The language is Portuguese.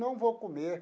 Não vou comer.